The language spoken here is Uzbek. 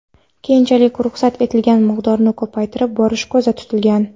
Keyinchalik ruxsat etilgan miqdorni ko‘paytirib borish ko‘zda tutilgan.